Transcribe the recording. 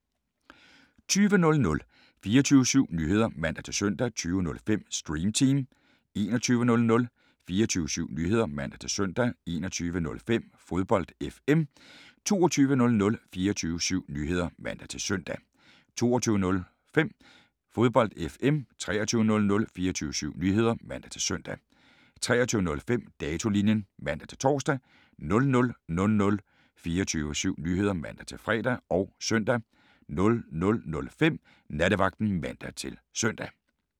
20:00: 24syv Nyheder (man-søn) 20:05: Stream Team 21:00: 24syv Nyheder (man-søn) 21:05: Fodbold FM 22:00: 24syv Nyheder (man-søn) 22:05: Fodbold FM 23:00: 24syv Nyheder (man-søn) 23:05: Datolinjen (man-tor) 00:00: 24syv Nyheder (man-fre og søn) 00:05: Nattevagten (man-søn)